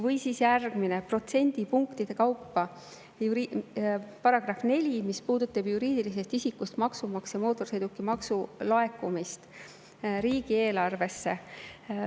Või siis järgmine protsendipunktide kaupa muutmine: § 4, mis puudutab ka juriidilisest isikust maksumaksja mootorsõidukimaksu laekumist riigieelarvesse.